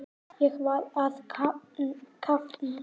Ég var að kafna.